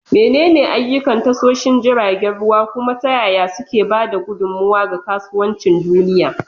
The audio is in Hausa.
Menene ayyukan tashoshin jiragen ruwa, kuma ta yaya suke ba da gudummawa ga kasuwancin duniya?